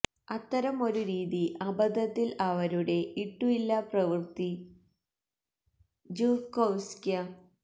അത്തരം ഒരു രീതി അബദ്ധത്തിൽ അവരുടെ ഇട്ടു ഇല്ല പ്രവൃത്തി ജ്ഹുകൊവ്സ്ക്യ്